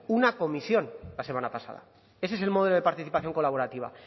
una comisión la semana pasada ese es el modelo de participación colaborativa